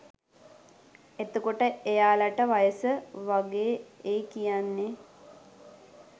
එතකොට එයාලට වයස වගේ ඒ කියන්නේ